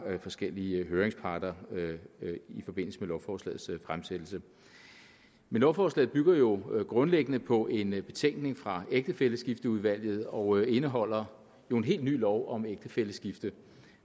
forskellige høringsparter i forbindelse med lovforslagets fremsættelse lovforslaget bygger jo grundlæggende på en betænkning fra ægtefælleskifteudvalget og indeholder jo en helt ny lov om ægtefælleskifte